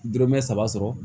Dɔrɔmɛ saba sɔrɔ